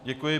Děkuji.